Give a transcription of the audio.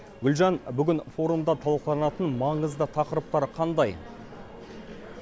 гүлжан бүгін форумда талқыланатын маңызды тақырыптар қандай